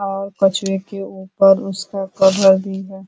और कछुए के ऊपर उसका कवर भी है।